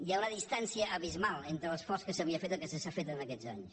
hi ha una distància abismal entre l’esforç que s’havia fet i el que s’ha fet en aquests anys